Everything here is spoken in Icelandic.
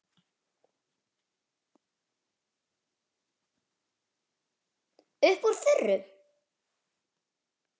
Upp úr þurru.